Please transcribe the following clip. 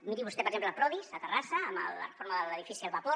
miri vostè per exemple prodis a terrassa amb la reforma de l’edifici el vapor